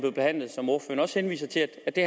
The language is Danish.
jo også henviser til at det